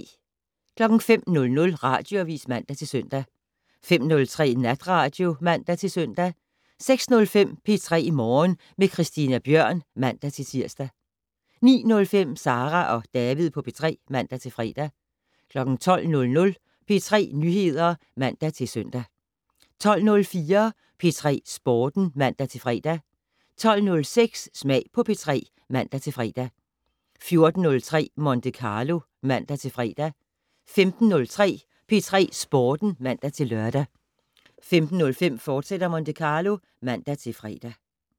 05:00: Radioavis (man-søn) 05:03: Natradio (man-søn) 06:05: P3 Morgen med Christina Bjørn (man-tir) 09:05: Sara og David på P3 (man-fre) 12:00: P3 Nyheder (man-søn) 12:04: P3 Sporten (man-fre) 12:06: Smag på P3 (man-fre) 14:03: Monte Carlo (man-fre) 15:03: P3 Sporten (man-lør) 15:05: Monte Carlo, fortsat (man-fre)